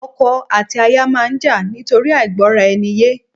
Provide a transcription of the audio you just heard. Ọkọ àti aya máa ń jà nítorí àìgbọ́ra-eni-yé